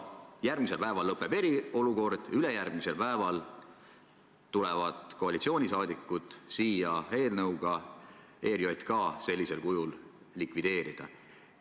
Järgmisel päeval lõpeb eriolukord ja ülejärgmisel päeval tulevad koalitsiooniliikmed siia eelnõuga, millega ERJK sellisel kujul likvideerida.